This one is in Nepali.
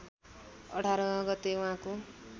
१८ गते उहाँको